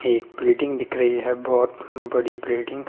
एक बिल्डिंग दिख रही है बहोत बड़ी बिल्डिंग --